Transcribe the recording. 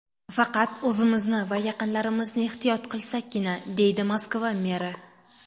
Faqat o‘zimizni va yaqinlarimizni ehtiyot qilsakkina”, deydi Moskva meri.